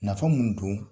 Nafa mun don